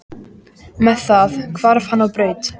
Með það hvarf hann á braut.